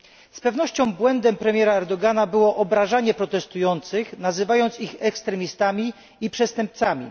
Z pewnością błędem premiera Erdogana było obrażanie protestujących poprzez nazwanie ich ekstremistami i przestępcami.